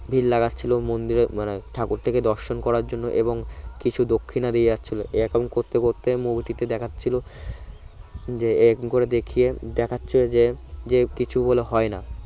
ভির লাগাচ্ছিল মন্দিরে মানে ঠাকুর টিকে দর্শন করার জন্য এবং কিছু দক্ষিণা দিয়ে যাচ্ছিল এরকম করতে করতে movie টিতে দেখাচ্ছিল যে এরাম করে দেখিয়ে দেখাচ্ছে যে যে কিছু বলে হয় না